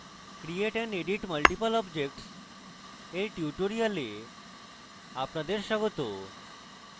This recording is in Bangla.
create and edit multiple objects এর tutorial আপনাদের স্বাগত